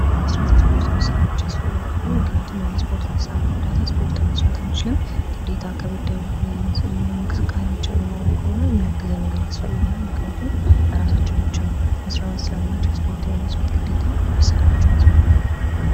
የስፖርት መሣሪያዎች ያስፈልጋሉ ምክንያቱም ያለ መሳሪያ እርዳታ ማስፖርት መስራት አንችልም ግዴታ ከበደ እንቅስቃሴዎች የምናደርግ ከሆነ እንደዚህ አይነት ነገር ያስፈልገናል ምክንያቱም በራሳችንን ምንም አይነት ነገር ስለማንችስተር እስፖርት ለመስራት ግዴታ መሰረቱ ያስፈልጉናል